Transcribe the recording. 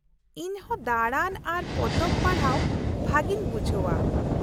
-ᱤᱧ ᱦᱚᱸ ᱫᱟᱲᱟᱱ ᱟᱨ ᱯᱚᱛᱚᱵ ᱯᱟᱲᱦᱟᱣ ᱵᱷᱟᱹᱜᱤᱧ ᱵᱩᱡᱷᱟᱹᱣᱼᱟ ᱾